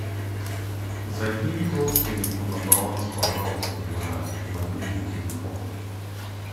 закинь родственнику на баланс пожалуйста на мобильный телефон